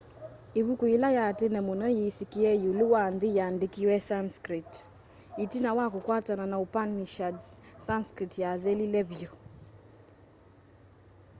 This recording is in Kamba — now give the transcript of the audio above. ivuku yila ya tene muno yisikie iulu wa nthi yaandikiwe sanskrit itina wa kukwatanwa na upanishads sanskrit yathelile vyu